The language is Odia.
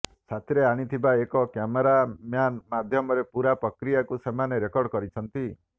ସାଥୀରେ ଆଣିଥିବା ଏକ କ୍ୟାମେରାମ୍ୟାନ ମାଧ୍ୟମରେ ପୂରା ପକ୍ରିୟାକୁ ସେମାନେ ରେକର୍ଡ କରିଛନ୍ତି